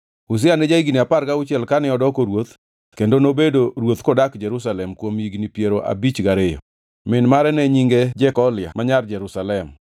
Uzia ne ja-higni apar gauchiel kane odoko ruoth kendo nobedo ruoth kodak Jerusalem kuom higni piero abich gariyo. Min mare ne nyinge Jekolia ma nyar Jerusalem.